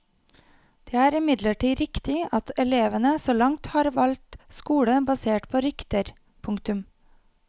Det er imidlertid riktig at elevene så langt har valgt skole basert på rykter. punktum